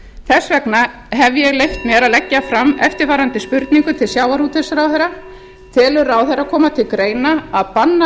þess vegna hef ég leyft mér að leggja fram eftirfarandi spurningu til sjávarútvegsráðherra telur ráðherra koma til greina að banna